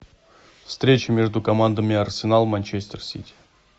встреча между командами арсенал манчестер сити